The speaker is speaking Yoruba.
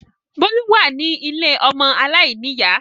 Bólú wà ní ilé ọmọ aláìníyà